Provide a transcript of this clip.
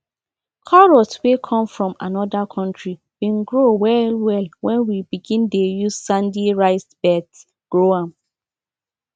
carrots wey come from another country been grow well well when we begin dey use sandy raised beds grow am